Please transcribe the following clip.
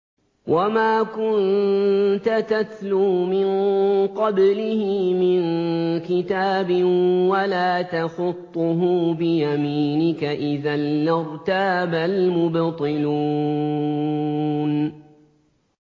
وَمَا كُنتَ تَتْلُو مِن قَبْلِهِ مِن كِتَابٍ وَلَا تَخُطُّهُ بِيَمِينِكَ ۖ إِذًا لَّارْتَابَ الْمُبْطِلُونَ